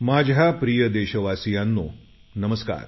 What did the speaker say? माझ्या प्रिय देशवासियांनो नमस्कार